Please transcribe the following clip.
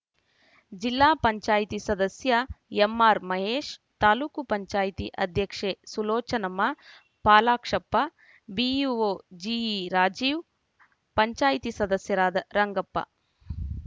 ಜಿಲ್ಲಾ ಪಂಚಾಯತಿಸದಸ್ಯ ಎಂಆರ್‌ ಮಹೇಶ್‌ ತಾಲೂಕ್ ಪಂಚಾಯತಿ ಅಧ್ಯಕ್ಷೆ ಸುಲೋಚನಮ್ಮ ಫಾಲಾಕ್ಷಪ್ಪ ಬಿಇಒ ಜಿಇ ರಾಜೀವ್‌ ಪಂಚಾಯತಿ ಸದಸ್ಯರಾದ ರಂಗಪ್ಪ